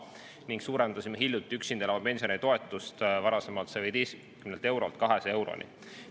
Hiljuti suurendasime ka üksinda elava pensionäri toetust, varasemalt 115 eurolt 200 euroni.